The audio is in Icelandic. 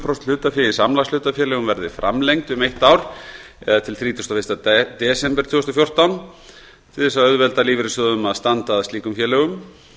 prósent hlutafé í samlagshlutafélögum verði framlengd um eitt ár eða til þrítugasta og fyrsta desember tvö þúsund og fjórtán til að auðvelda lífeyrissjóðunum að standa að slíkum félögum